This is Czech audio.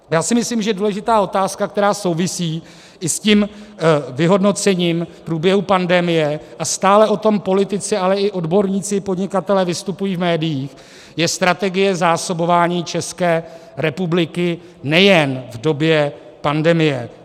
Já si myslím, že důležitá otázka, která souvisí i s tím vyhodnocením průběhu pandemie, a stále o tom politici, ale i odborníci a podnikatelé vystupují v médiích, je strategie zásobování České republiky nejen v době pandemie.